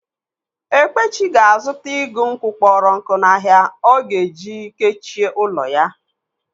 Ekpechi ga-azuta igù nkwụ kpọrọ nkụ n'ahia ọ ga-eji kechie ụlọ ya.